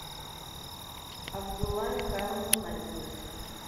абдулла михайловна назина